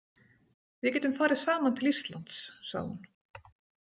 Við getum farið saman til Íslands, sagði hún.